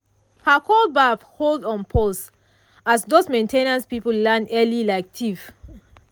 her cold baff hold on pause as those main ten ance people land early like thief.